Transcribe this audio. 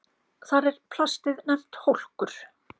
Þar er plastið nefnt hólkur.